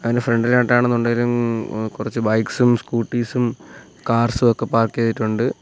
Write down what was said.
അതിന്റെ ഫ്രണ്ട്‌ ഇലായിട്ടാണുന്നുണ്ടേലും കുറച്ച് ബൈക്സും സ്കൂട്ടീസും കാർസും ഒക്കെ പാർക്ക് ചെയ്തിട്ടുണ്ട്.